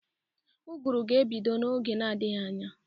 Ụgụrụ ga-ebido n'oge n'adgighị anya.